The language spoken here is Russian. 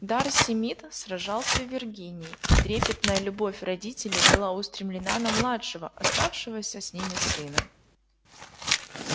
дарси мид сражался в виргинии и трепетная любовь родителей была устремлена на младшего оставшегося с ними сына